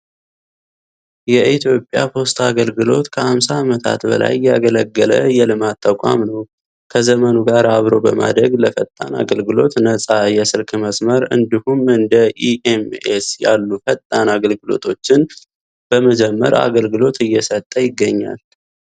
የኢትዮጵያ ፖስታ አገልግሎት ከ 50 አመታት በላይ ያገለገለ የልማት ተቋም ነው። ከዘመኑ ጋር አብሮ በማደግ ለፈጣን አገልግሎት ነጻ የስልክ መስመር እንዲሁም እንደ ኢ.ኤም.ኤስ ያሉ ፈጣን አገልግሎቶችን በመጀመር አገልግሎት እየሰጠ ይገኛል።